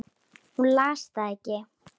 Hún las það ekki.